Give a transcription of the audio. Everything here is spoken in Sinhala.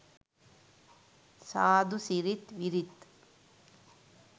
සාධු සිරිත් විරිත්